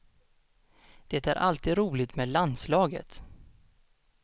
Det är alltid roligt med landslaget.